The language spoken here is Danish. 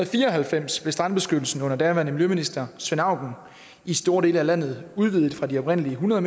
fire og halvfems blev strandbeskyttelsen under daværende miljøminister svend auken i store dele af landet udvidet fra de oprindelige hundrede